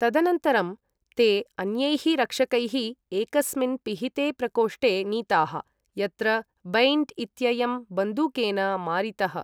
तदनन्तरं, ते अन्यैः रक्षकैः एकस्मिन् पिहिते प्रकोष्टे नीताः, यत्र बैन्ट् इत्ययं बन्दूकेन मारितः।